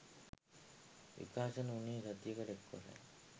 විකාශන වුණේ සතියකට එක්වරයි.